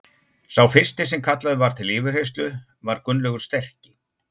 Sá fyrsti sem kallaður var til yfirheyrslu var Gunnlaugur sterki.